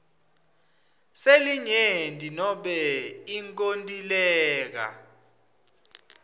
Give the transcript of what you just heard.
selinyenti nobe inkontileka